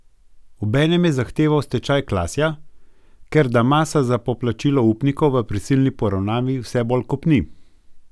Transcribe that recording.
Obenem je zahteval stečaj Klasja, ker da masa za poplačilo upnikov v prisilni poravnavi vse bolj kopni.